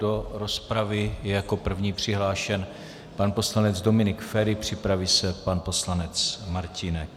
Do rozpravy je jako první přihlášen pan poslanec Dominik Feri, připraví se pan poslanec Martínek.